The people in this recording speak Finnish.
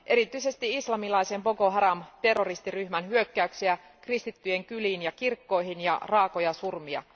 Erityisesti islamilaisen Boko Haram terroristiryhmän hyökkäyksiä kristittyjen kyliin ja kirkkoihin ja raakoja surmia.